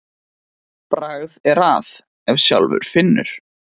Bragð er að ef sjálfur finnur.